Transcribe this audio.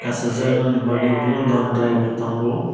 kasajaknai ni bagui bo dondrai bo tongo.